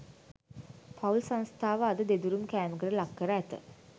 පවුල් සංස්ථාව අද දෙදරුම් කෑමකට ලක්කර ඇත